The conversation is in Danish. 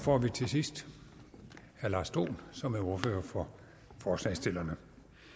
får vi til sidst herre lars dohn som er ordfører for forslagsstillerne